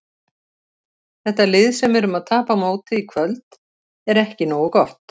Þetta lið sem við erum að tapa á móti í kvöld er ekki nógu gott.